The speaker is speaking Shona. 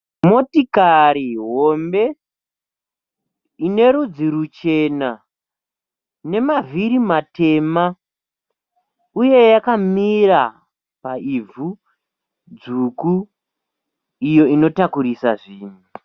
Motokari hombe inerudzi ruchena nemavhiri matema uye yakamira paivhu dzvuku iyo inotakurisa zvinhu.